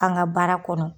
An ka baara kɔnɔ